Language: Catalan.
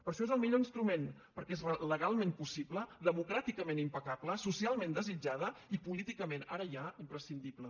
per això és el millor instrument perquè és legalment possible democràticament impecable socialment desitjada i políticament ara ja imprescindible